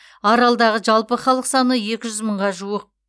аралдағы жалпы халық саны екі жүз мыңға жуық